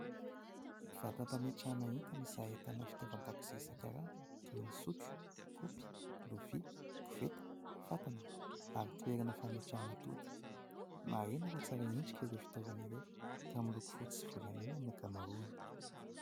Vata fametrahana entana izay ahitana fitaovan-dakozia isankarazany toy ny : sotro, kaopy, lovia, koveta, fatana ary toerana fametrahana atody. Marihina fa tsara endrika ireo fitaovana ireo ka miloko fotsy sy volamena ny ankamaroany.